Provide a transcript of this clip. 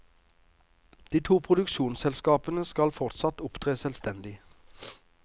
De to produksjonsselskapene skal fortsatt opptre selvstendig.